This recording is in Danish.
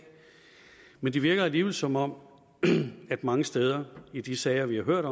men det virker alligevel som om man mange steder i de sager vi har hørt